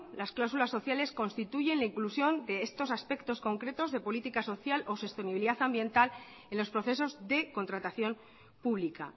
las cláusulas sociales constituyen la inclusión de estos aspectos concretos de política social o sostenibilidad ambiental en los procesos de contratación pública